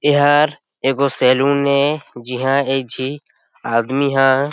एहर एक गो सैलून हे जिहा एक झी आदमी ह --